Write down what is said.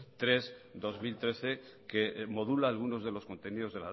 tres barra dos mil trece que modula algunos contenidos